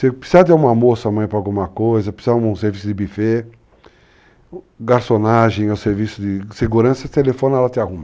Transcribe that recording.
Se precisar de uma moça amanhã para alguma coisa, se precisar de um serviço de buffet, garçonagem ou serviço de segurança, você telefona e ela te arruma.